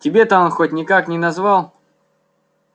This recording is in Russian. тебе-то он хоть никак не назвал